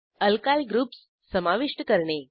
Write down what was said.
alkyl groups समाविष्ट करणे